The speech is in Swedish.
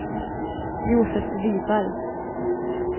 Josef Wiberg